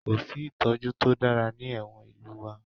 Kò sí ìtọ́jú to dára ní ẹ̀wọ̀n ìlú wa